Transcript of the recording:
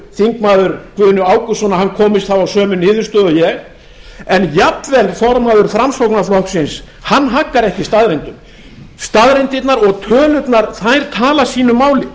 þingmaður guðni ágústsson komist þá að sömu niðurstöðu og ég en jafnvel formaður framsóknarflokksins haggar ekki staðreyndum staðreyndirnar og tölurnar tala sínu máli